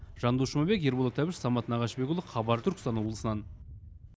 жандос жұмабек ерболат әбіш самат нағашыбекұлы хабар түркістан облысынан